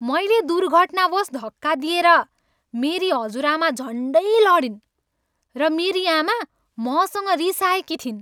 मैले दुर्घटनावश धक्का दिएर मेरी हजुरआमा झन्डै लडिन् र मेरी आमा मसँग रिसाएकी थिइन्।